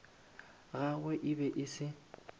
gagwe e be e se